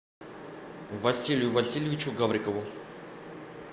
василию васильевичу гаврикову